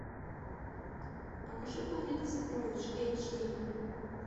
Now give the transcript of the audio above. покажи планета сокровищ эйч ди